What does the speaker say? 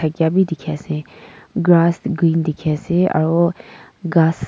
maikya be dikhi ase grass green dikhi ase aro ghas--